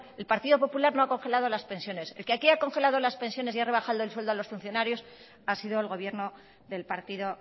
el partido popular no ha congelado las pensiones el que aquí ha congelado las pensiones y ha rebajado el sueldo a los funcionarios ha sido el gobierno del partido